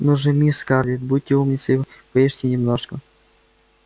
ну же мисс скарлетт будьте умницей поешьте немножко